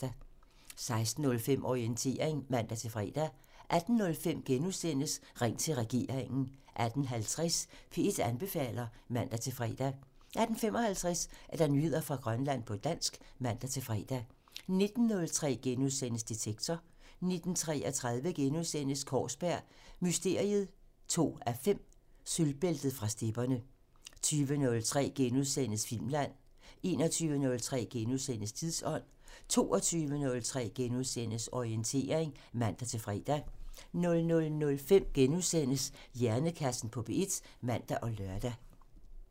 16:05: Orientering (man-fre) 18:05: Ring til regeringen *(man) 18:50: P1 anbefaler (man-fre) 18:55: Nyheder fra Grønland på dansk (man-fre) 19:03: Detektor *(man) 19:33: Kaarsberg Mysteriet 2:5 – Sølvbæltet fra stepperne * 20:03: Filmland *(man) 21:03: Tidsånd *(man) 22:03: Orientering *(man-fre) 00:05: Hjernekassen på P1 *(man og lør)